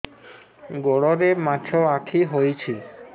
ଗୋଡ଼ରେ ମାଛଆଖି ହୋଇଛି